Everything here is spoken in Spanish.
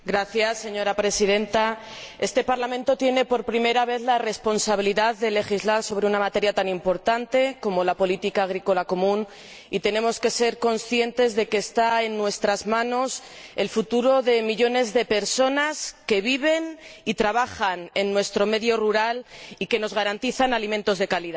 Señora Presidenta, este Parlamento tiene por primera vez la responsabilidad de legislar sobre una materia tan importante como la política agrícola común, y tenemos que ser conscientes de que está en nuestras manos el futuro de millones de personas que viven y trabajan en nuestro medio rural y que nos garantizan alimentos de calidad.